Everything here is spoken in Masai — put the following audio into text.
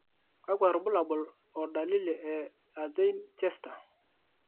kakwa irbulabol o dalili e Erdhein Chester?